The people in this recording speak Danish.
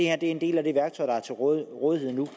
er en del af det værktøj der er til rådighed nu